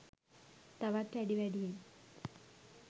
තවත් වැඩි වැඩියෙන්